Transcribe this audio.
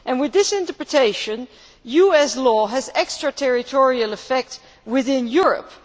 With that interpretation, US law has extra territorial effect within Europe.